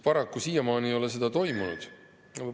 Paraku siiamaani ei ole seda toimunud.